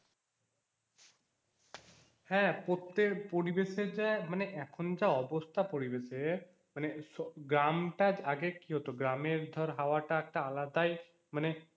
হ্যাঁ প্রত্যেক পরিবেশের যা মানে এখন যা অবস্থা পরিবেশের মানে স গ্রামটা আগে কি হতো গ্রামের ধর হাওয়াটা একটা আলাদাই মানে